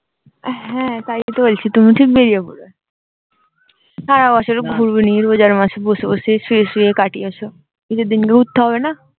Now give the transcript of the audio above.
হ্যাঁ তাই তো বলছি তুমি ঠিক বেরিয়ে পড়বে সারা বছর ঘরো নি রোজার মাসে বসে বসে শুয়ে শুয়ে কাটিয়েছ ঈদ এর দিনে ঘুরতে হবে না